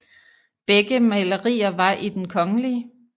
Begge malerier var i Den kgl